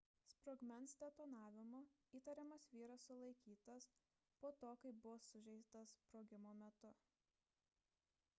sprogmens detonavimu įtariamas vyras sulaikytas po to kai buvo sužeistas sprogimo metu